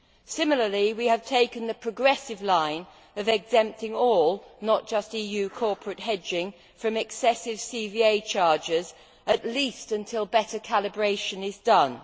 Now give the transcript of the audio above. Similarly, we have taken the progressive line of exempting all not just EU corporate hedging from excessive CVA charges, at least until better calibration is done.